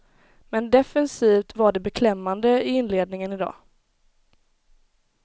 Men defensivt var det beklämmande i inledningen idag.